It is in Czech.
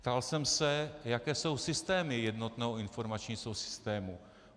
Ptal jsem se, jaké jsou systémy jednotného informačního systému.